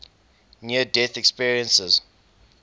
near death experiences